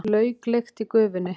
Lauklykt í gufunni.